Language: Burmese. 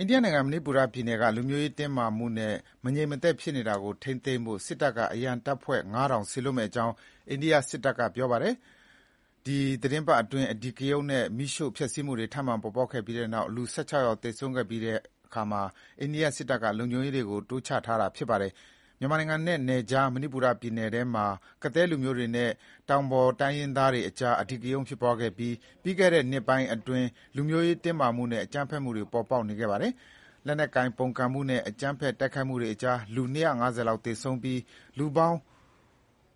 အိန္ဒိယနိုင်ငံ၊ မဏိပူပြည်နယ်က လူမျိုးရေးတင်းမာမှုတွေနဲ့ မငြိမ်မသက်ဖြစ်နေတာထိန်းဖို့ စစ်တပ်က အရံတပ်ဖွဲ့ ၅,၀၀၀ စေလွှတ်မယ့်အကြောင်း အိန္ဒိယစစ်တပ်ကပြောပါတယ်။ ဒီသတင်းပတ်အတွင်း အဓိကရုဏ်းနဲ့ မီးရှို့ဖျက်ဆီးမှုတွေ ထပ်မံပေါ်ပေါက်ခဲ့ပြီး လူ ၁၆ ယောက် သေဆုံးခဲ့ပြီးတဲ့နောက် အိန္ဒိယစစ်တပ်က လုံခြုံရေးတွေ တိုးချထားတာပါ။ မြန်မာနိုင်ငံနဲ့ နယ်ခြား မဏိပူပြည်နယ်ထဲမှာ ကသည်းလူမျိုးတွေနဲ့ တောင်ပေါ်သားတိုင်းရင်းသားတွေ ကြား အဓိကရုဏ်းဖြစ်ခဲ့ပြီး ပြီးခဲ့တဲ့နှစ်ပိုင်းအတွင်း လူမျိုးရေးတင်းမာမှုနဲ့ အကြမ်းဖက်မှုတွေ ပေါ်ပေါက်နေခဲ့ပါတယ်။ လက်နက်ကိုင်ပုန်ကုန်မှုနဲ့ အကြမ်းဖက်တိုက်ခိုက်မှုတွေကြောင့် လူ ၂၅၀ လောက်သေဆုံးပြီး လူပေါင်း